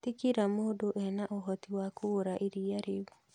Ti kila mũndũ ena ũhoti wa kũgũra iria rĩu